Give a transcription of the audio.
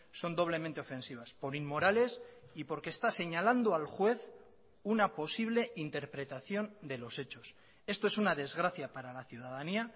son doblemente ofensivas por inmorales y porque está señalando al juez una posible interpretación de los hechos esto es una desgracia para la ciudadanía